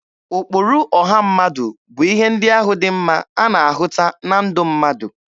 Ụkpụrụ ọha mmadụ bụ ihe ndị ahụ dị mma a na-ahụta na ndụ mmadụ.